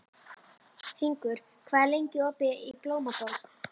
Hringur, hvað er lengi opið í Blómaborg?